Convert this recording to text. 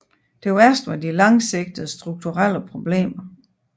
Det værste var de langsigtede strukturelle problemer